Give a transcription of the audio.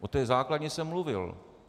O té základní jsem mluvil.